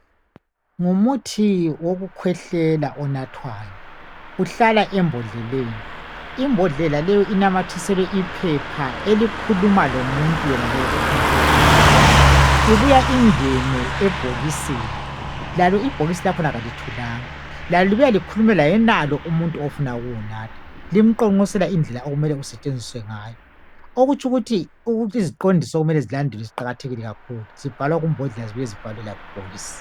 Ngumuthi wokukhwehlela onathwayo uhlala embodleleni. Imbodlela leyi inamathiselwe iphepha elikhuluma lomuntu yenalowo ofuna ukuwunatha ibuya ingene ebhokisini lalo ibhokisi lakhona kalithulanga Lalo libuye likhulume layenalo umuntu ofuna ukuwanatha limqonqosela indlela okumele kusetshenziswe ngayo. Okutsho ukuthi iziqondiso kumele zilandeelwe ziqakatheke kakhulu zibhalwa kumbodlela ziphinde zibhalwe kubhokisi.